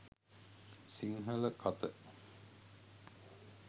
sinhala katha